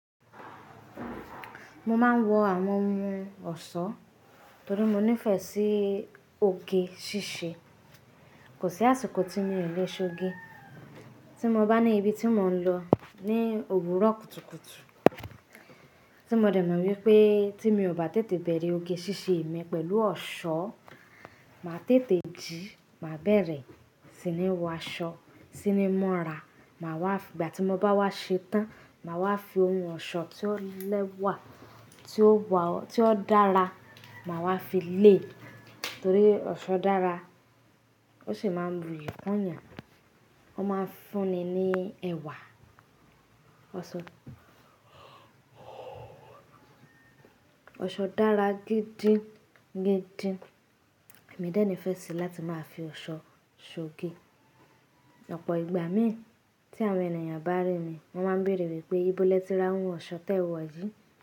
Mo máa ń wọ àwọn ohun ọ̀ṣọ́ torí mo nífẹ̀ẹ́ sí oge ṣíṣe. Kò sí àsìkò tí mi o lè ṣọge. Tí mo bá ní ibi tí mò ń lọ ní òwúrọ̀ kùtùkùtù tí mo dẹ̀ mọ̀ wípé tí mi ò bá tètè bẹ̀rẹ̀ oge ṣíṣe mi pẹ̀lú ọ̀ṣọ́, màá tètè jí, màá bẹ̀rẹ̀ sí ní wọ aṣọ, sí ní múra, màá wá, ìgbà tí mo bá wá ṣe tán, màá wá fi ohun ọ̀ṣọ́ tí ó lẹ́wà, tí ó wa, tí ó dára, màá wá fi lé e torí ọ̀ṣọ́ dára. Ó sì máa ń bù iyi kun yàn. Wọ́n máa ń fún ni ní ẹwà, ọ̀ṣọ́. Ọ̀ṣọ́ dára gidi, gidi. Èmi dẹ́ni fẹ́ sì láti máa fi ọ̀ṣọ́ ṣọge. Ọ̀pọ̀ ìgbà mi tí àwọn ènìyàn bá rí mi, wọ́n máa ń bèèrè wípé ìbọ́ lè tí ra ohun ọ̀ṣọ́ tẹ wọ̀ yìí?